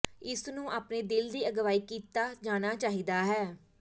ਇਸ ਨੂੰ ਆਪਣੇ ਦਿਲ ਦੀ ਅਗਵਾਈ ਕੀਤਾ ਜਾਣਾ ਚਾਹੀਦਾ ਹੈ